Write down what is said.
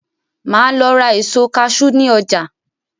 Máa Lọ ra èso "cashew" ni ọjà.